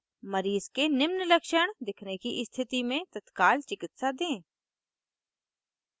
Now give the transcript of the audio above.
मरीज़ के निम्न लक्षण दिखने की स्थिति में तत्काल चिकित्सा दें